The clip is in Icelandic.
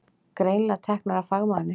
Greinilega teknar af fagmanni.